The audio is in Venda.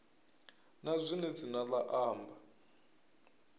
na zwine dzina la amba